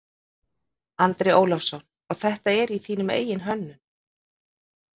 Andri Ólafsson: Og þetta er þín eigin hönnun?